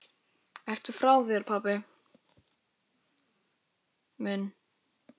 Ertu frá þér, pabbi minn?